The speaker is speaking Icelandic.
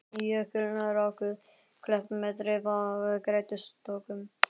Jökulrákuð klöpp með dreif af grettistökum.